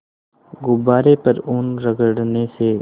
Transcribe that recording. गुब्बारे पर ऊन रगड़ने से